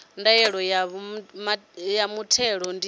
ya ndaela ya muthelo ndi